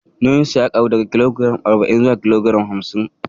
Nauyinsa ya ƙaru daga kilogiram arba'in zuwa kilogiram hamsin